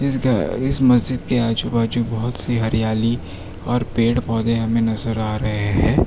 इस मस्जिद के आजू बाजू बहुत सी हरियाली और पेड़ पौधे हमें नजर आ रहे हैं।